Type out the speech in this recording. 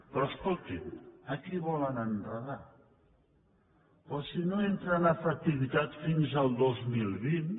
però escoltin a qui volen enredar però si no entra en efectivitat fins al dos mil vint